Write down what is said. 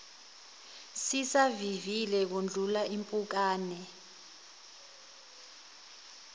sisavivile kudlula impukane